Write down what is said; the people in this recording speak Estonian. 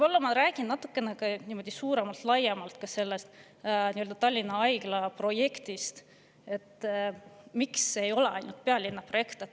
Ma räägin ka natukene laiemalt Tallinna Haigla projektist, sellest, miks see ei ole ainult pealinna projekt.